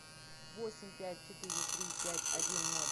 восемь пять четыре три пять один ноль